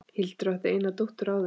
Hildur átti eina dóttur áður.